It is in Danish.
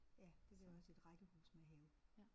Ja det gør jeg også et rækkehus med have